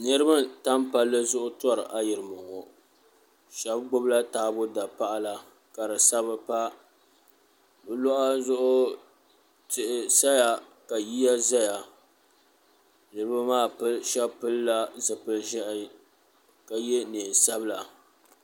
Niriba n tam palli zuɣu tori ayirimo ŋɔ sheba gbibila taabo dapaɣala ka di sabi pa bɛ luɣa zuɣu tihi saya ka yiya zaya niriba maa sheba pilila zipil'ʒehi ka ye niɛn'sabla.